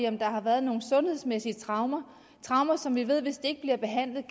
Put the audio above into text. om der har været nogle sundhedsmæssige traumer traumer som vi ved hvis de ikke bliver behandlet